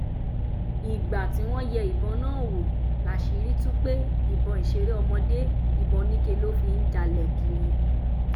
ìgbà tí wọ́n yẹ ìbọn náà wò láṣìírí tú pé ìbọn ìṣeré ọmọdé ìbọn oníke ló fi ń jálẹ̀ kiri